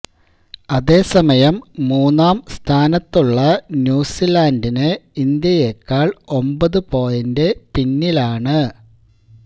അതേസമയം മൂന്നാം സ്ഥാനത്തുള്ള ന്യൂസിലാന്ഡിന് ഇന്ത്യയെക്കാള് ഒമ്പതു പോയിന്റ് പിന്നിലാണ്